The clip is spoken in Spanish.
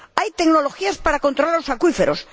Hay tecnologías para controlar los acuíferos.